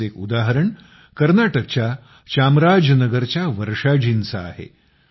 असंच एक उदाहरण कर्नाटकच्या चामराजनगर च्या वर्षाजींचं आहे